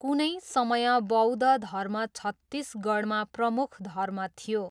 कुनै समय बौद्ध धर्म छत्तिसगढमा प्रमुख धर्म थियो।